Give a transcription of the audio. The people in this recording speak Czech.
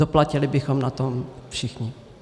Doplatili bychom na tom všichni.